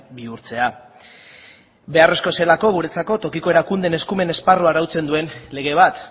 bihurtzea beharrezkoa zelako guretzako tokiko erakunde erakundeen esparruan arautzen duen lege bat